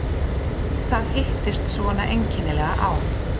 Það hittist svona einkennilega á.